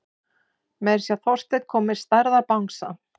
Meira að segja Þorsteinn kom með stærðar bangsa.